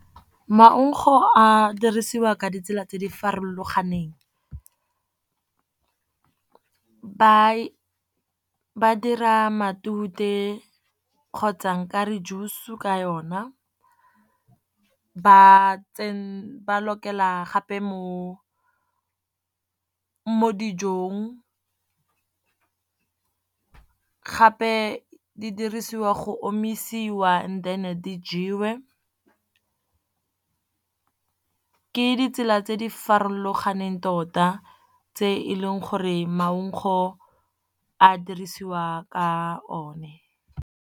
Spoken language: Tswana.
Maugo a dirisiwa ka ditsela tse di farologaneng. Ba dira matute kgotsa o kare juice ka yona, ba lokela gape mo dijong. Gape di dirisiwa go omisiwa then di jewe, ke ditsela tse di farologaneng tota tse e leng gore maungo a dirisiwa ka o ne.